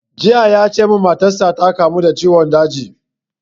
Jiya ya ce mun matar sa ta kamu da ciwon daji